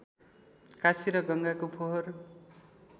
काशी र गङ्गाको फोहोर